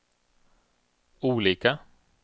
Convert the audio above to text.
olika